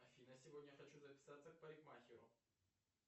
афина сегодня хочу записаться к парикмахеру